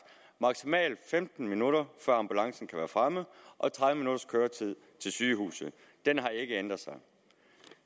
maksimalt femten minutter før ambulancen kan være fremme og tredive minutters køretid til sygehuse den har ikke ændret sig